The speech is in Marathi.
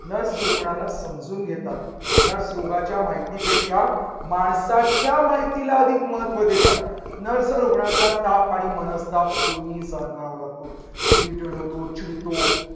nurse रुग्णाला समजून घेतात. nurse रोगाच्या माहितीपेक्षा माणसाच्या माहितीला अधिक महत्त्व देतात. nurse रुग्णाचा ताप आणि मनस्ताप दोन्ही सहन करावा लागतो. irritate होतो, चिडतो